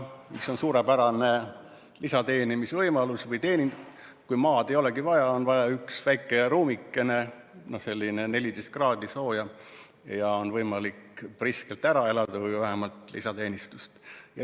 See on suurepärane lisateenimisvõimalus, sest maad ei olegi vaja, on vaja üks väike ruumikene, kus on 14 kraadi sooja, ja on võimalik priskelt ära elada või vähemalt saada lisateenistust.